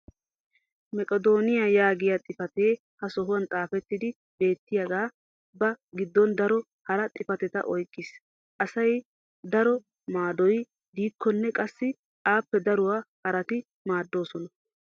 "meqedoniya" yaagiya xifatee ha sohuwan xaafettidi beetiyaage ba giddon daro hara xifatetta oyqqiis. assi daro maadoy diikkonne qassi appe daruwa harati maadoosona.